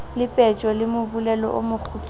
lepetjo ke mobolelo o mokgutshwane